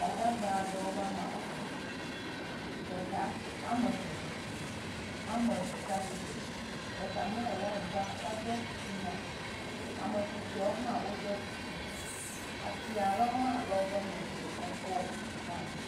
Gbadagba aɖewo ƒe ame ɖeka dze ame eve dze klo. Ame ve tsa tsitre. Ɖeka mlae nyi le anyigba eɖo huvea. Ame susɔewo hã woɖo. Atia ɖewo hã le woƒe megbe efɔwo hã.